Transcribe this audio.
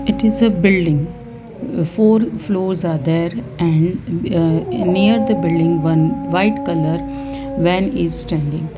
it is a building four floors are there and ah near the building one white colour van is standing.